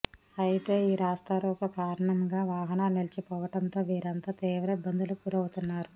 అయితే ఈ రాస్తారోకో కారణంగా వాహనాలు నిలిచిపోవడంతో వీరంతా తీవ్ర ఇబ్బందులకు గురవుతున్నారు